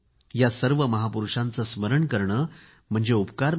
या सर्व महापुरूषांचे स्मरण करणे म्हणजे उपकार नाही